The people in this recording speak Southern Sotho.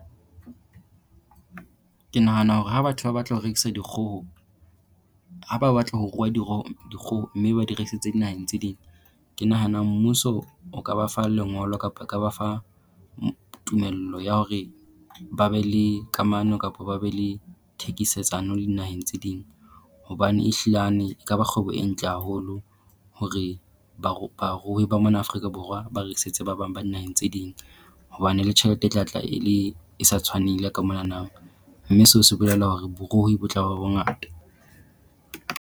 Ke nahana hore ha batho ba batla ho rekisa dikgoho ha ba batla ho ruwa dikgoho mme ba di rekisetse dinaheng tse ding. Ke nahana mmuso o ka ba fa lengolo kapa o ka ba fa tumello ya hore ba be le kamano kapo ba be le thekisetsano le dinaheng tse ding. Hobane ehlilane e ka ba kgwebo e ntle haholo hore barui ba mona Afrika Borwa ba rekisetse ba bang ba naheng tse ding. Hobane le tjhelete e tla tla e le e sa tshwaneng le ya ka monanang, mme seo se bolela hore boruhi bo tla ba bongata.